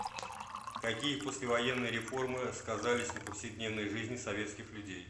какие послевоенные реформы сказались на повседневной жизни советских людей